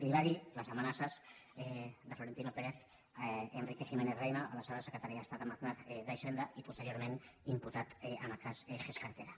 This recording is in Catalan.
i li va dir les amenaces de florentino pérez a enrique giménez reyna a la seva secretaria d’estat amb aznar d’hisenda i posteriorment imputat en el cas gescartera